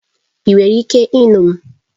Ị nwere ike ịnụ m?